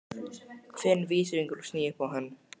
Finn vísifingur og sný upp á hann.